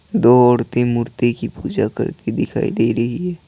दो औरतें मूर्ति की पूजा करते दिखाई दे रही हैं।